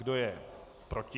Kdo je proti?